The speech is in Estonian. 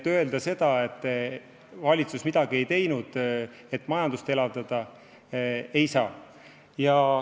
Öelda seda, et valitsus pole midagi teinud, et majandust elavdada, ei saa.